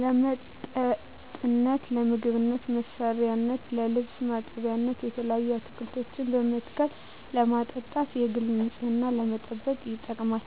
ለመጠጥነት ለምግብ መስሪያነት ለልብስ ማጠቢያነት የተለያዩ አትክልቶችን በመትከል ለማጠጣት የግል ንፅህናን ለመጠበቅ ይጠቅማል